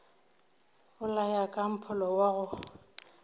bolaya ka mpholo wa go